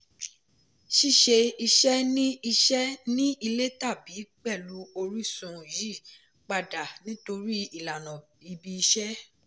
ṣíṣe iṣẹ́ ní iṣẹ́ ní ilé tàbí pẹ̀lú orísun yí padà nítorí ìlànà ibi iṣẹ́.